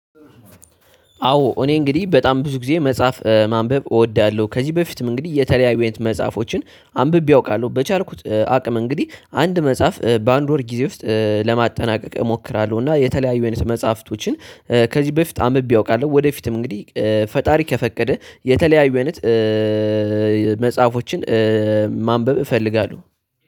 አዎ እኔ እንግዲህ በጣም ብዙ ጊዜ መጽሐፍ ማንበብ እወዳለሁ። ከዚህ በፊትም እንግዲህ የተለያዩ አይነት መጽሐፎችን አንብቤ አውቃለሁ በቻልኩት አቅም እንግዲህ አንድ መጽሐፍ በአንድ ወር ጊዜ ውስጥ ለማጠናቀቅ እሞክራለው። እና የተለያዩ አይነት መጽሐፍቶችን ከዚህ በፊት አንብቤ አውቃለሁ። ወደፊትም እንግዲህ ፈጣሪ ከፈቀደ የተለያዩ አይነት መጽሐፎችን ማንበብ እፈልጋለሁ